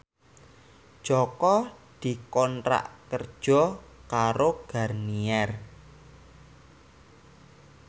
Jaka dikontrak kerja karo Garnier